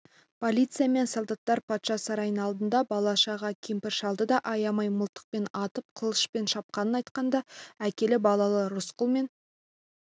полиция мен солдаттар патша сарайының алдында бала-шаға кемпір-шалды да аямай мылтықпен атып қылышпен шапқанын айтқанда әкелі-балалы рысқұл мен